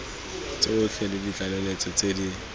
tsotlhe le ditlaleletso tse di